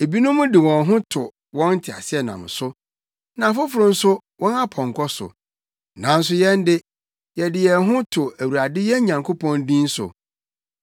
Ebinom de wɔn ho to wɔn nteaseɛnam so na afoforo nso, wɔn apɔnkɔ so, nanso yɛn de, yɛde yɛn ho to Awurade yɛn Nyankopɔn din so.